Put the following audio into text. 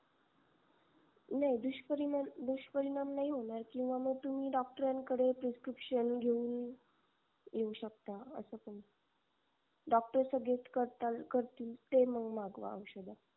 नाही दुष्परिणाम दुष्परिणाम नाही होणार किंवा मग तुम्ही डॉक्टरांकडे prescription घेऊन येऊ शकता अस पण doctor suggest करतील ते मग मागवा औषध